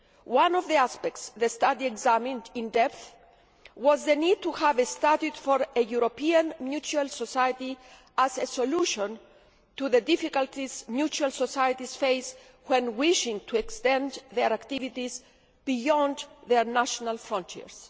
One of the aspects the study examined in depth was the need to have a study for a European mutual society as a solution to the difficulties mutual societies face when wishing to extend their activities beyond their national frontiers.